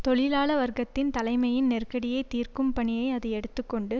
தொழிலாள வர்க்க தலைமையின் நெருக்கடியை தீர்க்கும் பணியை அது எடுத்து கொண்டு